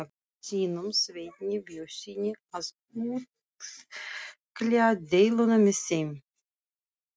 sínum, Sveini Björnssyni, að útkljá deiluna með þeim.